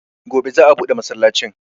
Gobe za'a buɗe masallacin.